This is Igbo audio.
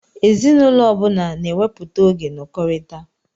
Ezinụlọ ọbula n'ewepụta oge nọkọritá